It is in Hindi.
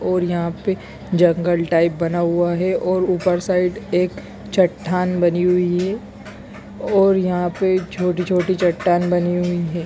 और यहाँ पे जंगल टाइप बना हुआ है और ऊपर साइड एक चट्टान बनी हुई है और यहाँ पे छोटी छोटी चट्टान बनी हुई है।